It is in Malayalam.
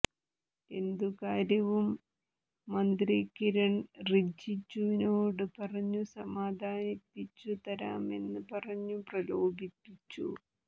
എന്തുകാര്യവും മന്ത്രി കിരണ് റിജിജുവിനോട് പറഞ്ഞു സാധിപ്പിച്ചു തരാമെന്ന് പറഞ്ഞു പ്രലോഭിപ്പിച്ചു